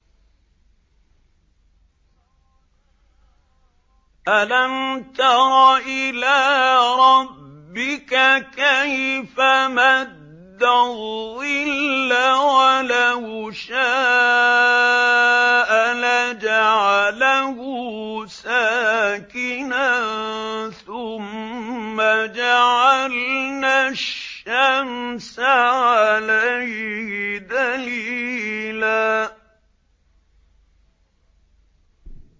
أَلَمْ تَرَ إِلَىٰ رَبِّكَ كَيْفَ مَدَّ الظِّلَّ وَلَوْ شَاءَ لَجَعَلَهُ سَاكِنًا ثُمَّ جَعَلْنَا الشَّمْسَ عَلَيْهِ دَلِيلًا